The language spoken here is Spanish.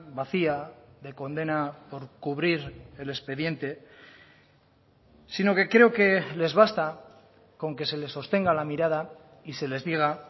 vacía de condena por cubrir el expediente sino que creo que les basta con que se les sostenga la mirada y se les diga